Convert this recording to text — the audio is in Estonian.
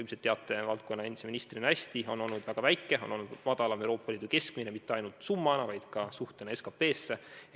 Ilmselt te teate valdkonna eelmise ministrina hästi, et see summa on olnud väiksem kui Euroopa Liidu keskmine – ja mitte ainult absoluutsummana, vaid ka protsendina SKP-st.